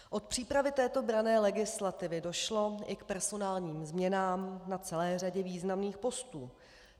Od přípravy této branné legislativy došlo i k personálním změnám na celé řadě významným postů.